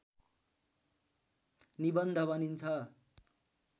निबन्ध भनिन्छ